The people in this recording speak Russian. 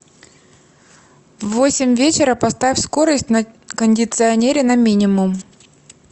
в восемь вечера поставь скорость на кондиционере на минимум